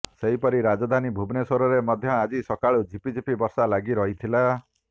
ସେହିପରି ରାଜଧାନୀ ଭୁବନେଶ୍ୱରରେ ମଧ୍ୟ ଆଜି ସକାଳୁ ଝିପିଝିପି ବର୍ଷା ଲାଗି ରହିଥିଲା